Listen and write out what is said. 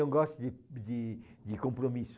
Não gosta de de de compromisso.